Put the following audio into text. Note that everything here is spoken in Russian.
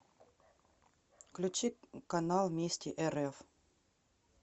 включи канал вместе рф